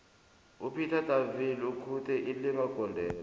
upeter de viliers ukhuthe ilinga gondelo